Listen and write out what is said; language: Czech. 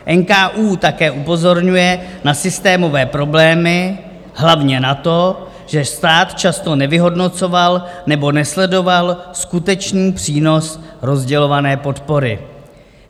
NKÚ také upozorňuje na systémové problémy, hlavně na to, že stát často nevyhodnocoval nebo nesledoval skutečný přínos rozdělované podpory.